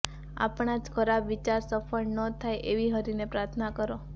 આપણા જ ખરાબ વિચાર સફળ ન થાય એવી હરિને પ્રાર્થના કરો